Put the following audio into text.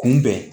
Kunbɛn